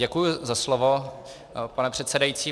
Děkuji za slovo, pane předsedající.